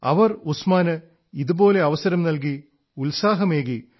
അവർ ഉസ്മാന് ഇതുപോലെ അവസരം നല്കി ഉത്സാഹമേകി